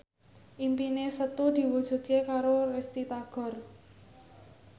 impine Setu diwujudke karo Risty Tagor